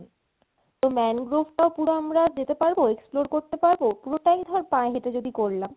তো mangrove টাও আমরা যেতে পারবো explore করতে পারবো পুরোটাই ধর পায়ে হেটে যদি করলাম